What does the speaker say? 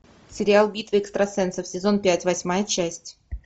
сериал битва экстрасенсов сезон пять восьмая часть